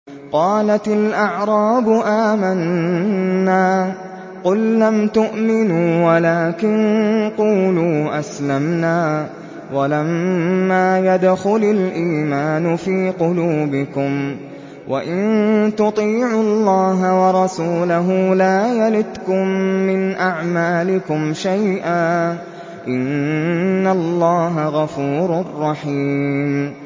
۞ قَالَتِ الْأَعْرَابُ آمَنَّا ۖ قُل لَّمْ تُؤْمِنُوا وَلَٰكِن قُولُوا أَسْلَمْنَا وَلَمَّا يَدْخُلِ الْإِيمَانُ فِي قُلُوبِكُمْ ۖ وَإِن تُطِيعُوا اللَّهَ وَرَسُولَهُ لَا يَلِتْكُم مِّنْ أَعْمَالِكُمْ شَيْئًا ۚ إِنَّ اللَّهَ غَفُورٌ رَّحِيمٌ